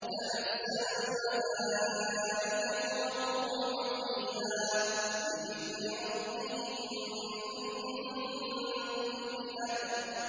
تَنَزَّلُ الْمَلَائِكَةُ وَالرُّوحُ فِيهَا بِإِذْنِ رَبِّهِم مِّن كُلِّ أَمْرٍ